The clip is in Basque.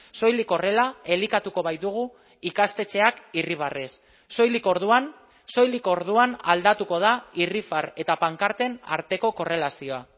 soilik horrela elikatuko baitugu ikastetxeak irribarrez soilik orduan soilik orduan aldatuko da irrifar eta pankarten arteko korrelazioa